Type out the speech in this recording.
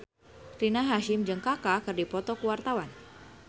Rina Hasyim jeung Kaka keur dipoto ku wartawan